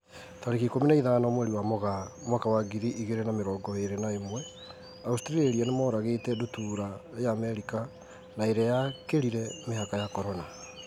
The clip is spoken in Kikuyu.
Tarĩki ikũmi na ithano mweri wa Mũgaa mwaka wa ngiri igĩrĩ na mĩrongo ĩrĩ na ĩmwe, Australia nĩmoragĩte ndutura ya Amerika na ĩrĩa yakĩrire mĩhaka ya Corona.